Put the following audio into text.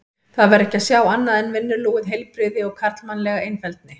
Þar var ekkert að sjá annað en vinnulúið heilbrigði og karlmannlega einfeldni.